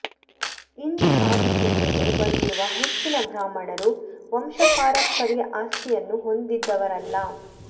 ಇಂದು ಸಾಧಿಸಿ ಮೇಲೆ ಬಂದಿರುವ ಹೆಚ್ಚಿನ ಬ್ರಾಹ್ಮಣರು ವಂಶಪಾರಂಪರ್ಯ ಆಸ್ತಿಯನ್ನು ಹೊಂದಿದವರಲ್ಲ